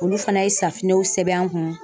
Olu fana ye sɛbɛn an kun.